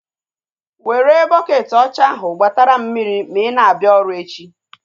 Were bukeeti ọcha ahu gbatara m mmiri ma ị na-abịa ọrụ echi!